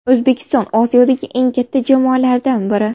O‘zbekiston Osiyodagi eng katta jamoalardan biri.